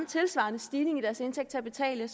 tilsvarende stigning i deres indtægt til at betale